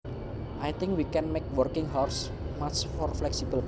I think we can make working hours much more flexible